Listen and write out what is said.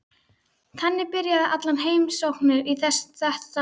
Þannig byrja allar heimsóknir í þessu húsi.